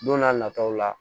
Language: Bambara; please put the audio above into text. Don n'a nataw la